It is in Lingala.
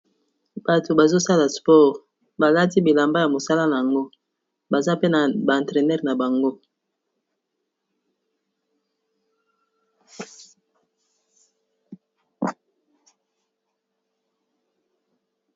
Bato bazo sala sport, balati bilamba ya mosala nango baza pe na ba entraîneur na bango.